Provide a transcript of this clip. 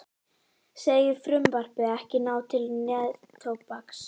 Segir frumvarpið ekki ná til neftóbaks